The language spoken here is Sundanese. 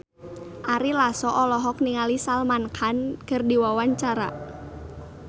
Ari Lasso olohok ningali Salman Khan keur diwawancara